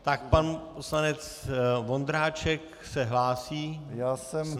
Tak pan poslanec Vondráček se hlásí s námitkou.